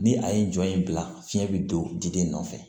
Ni a ye jɔ in bila fiɲɛ be don diden nɔfɛ